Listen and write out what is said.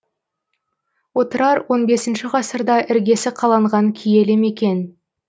отырар он бесінші ғасырда іргесі қаланған киелі мекен